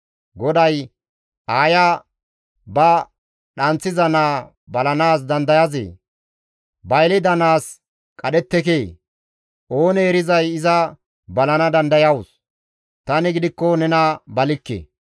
GODAY, «Aaya ba dhanththiza naa balanaas dandayazee? ba yelida naas qadhettekee? oonee erizay iza balana dandayawus; tani gidikko nena balikke.